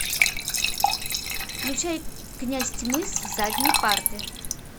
включай князь тьмы с задней парты